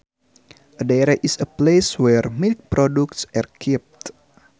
A dairy is a place where milk products are kept